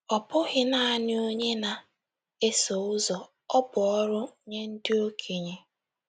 Ọ bụghị naanị onye na - eso ụzọ; ọ bụ orụ nye ndị okenye. ”